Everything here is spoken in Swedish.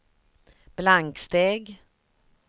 blanksteg